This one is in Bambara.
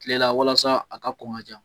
Kile la walasa a ka kɔn ka ja.